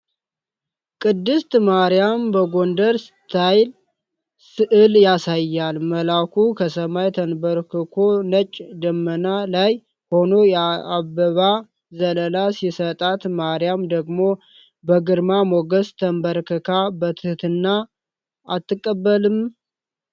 ቅድስት ማርያምን በጎንደር ስታይል ስዕል ያሳያል፤ መልአኩ ከሰማይ ተንበርክኮ ነጭ ደመና ላይ ሆኖ የአበባ ዘለላ ሲሰጣት ማርያም ደግሞ በግርማ ሞገስ ተንበርክካ በትህትና አትቀበልም?